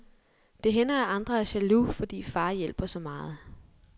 Det hænder at andre er jaloux, fordi far hjælper så meget.